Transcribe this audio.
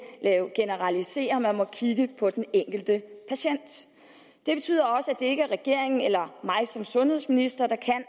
generalisere man må kigge på den enkelte patient det betyder også at det ikke er regeringen eller mig som sundhedsminister der kan